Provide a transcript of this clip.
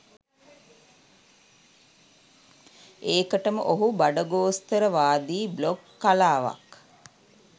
ඒකටම ඔහු බඩගෝස්තරවාදී බ්ලොග් කලාවක්